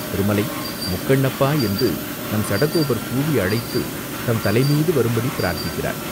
திருமலை முக்கண்ணப்பா என்று நம் சடகோபர் கூவி அழைத்துத் தம் தலைமீது வரும்படி பிரார்த்தித்திருக்கிறார்